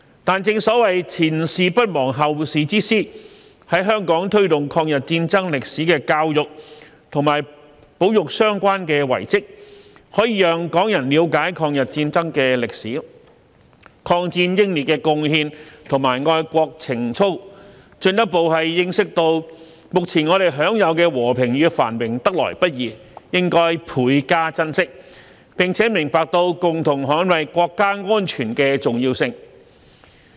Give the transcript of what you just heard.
但正所謂"前事不忘，後事之師"，在香港推動抗日戰爭歷史的教育和保育相關遺蹟，可以讓港人了解抗日戰爭的歷史、抗戰英烈的貢獻和愛國情操，進一步認識到目前我們享有的和平與繁榮得來不易，應倍加珍惜，並明白到共同捍衞國家安全的重要性。